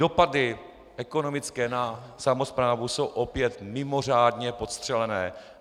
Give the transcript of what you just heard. Dopady ekonomické na samosprávu jsou opět mimořádně podstřelené.